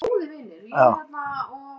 Evelyn